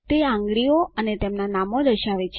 તે આંગળીઓ અને તેમના નામો દર્શાવે છે